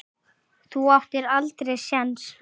Þú áttir aldrei séns